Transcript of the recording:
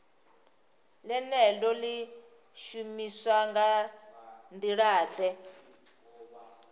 ḽeneḽo ḽi shumiswa nga nḓilaḓe